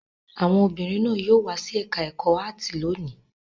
Àwọn obìnrin náà yóò wá sí ẹ̀ka-ẹ̀kọ́ áátì lónìí.